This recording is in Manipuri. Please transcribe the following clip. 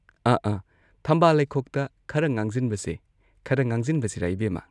ꯑꯥ ꯑꯥ ꯊꯝꯕꯥꯜ ꯂꯩꯈꯣꯛꯇ ꯈꯔ ꯉꯥꯡꯖꯤꯟꯕꯁꯦ ꯈꯔ ꯉꯥꯡꯖꯤꯟꯕꯁꯤꯔꯥ ꯏꯕꯦꯝꯃ